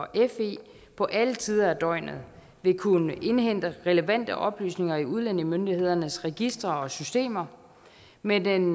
fe på alle tider af døgnet vil kunne indhente relevante oplysninger i udlændingemyndighedernes registre og systemer med den